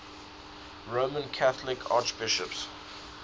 roman catholic archbishops